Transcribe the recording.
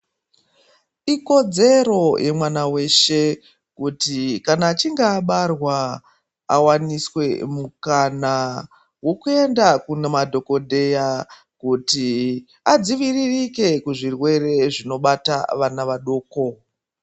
Ikodzero yemwana weshe kuti kana achinge abarwa awaniswe mukana wokuenda kunamadhokodheya kuti adziviririke kuzvirwere zvinobata vana vadoko.